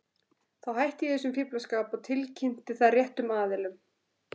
Þá hætti ég þessum fíflaskap og tilkynnti það réttum aðilum.